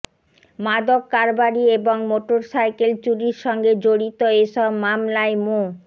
মাদক কারবারি এবং মোটরসাইকেল চুরির সঙ্গে জড়িত এসব মামলায় মো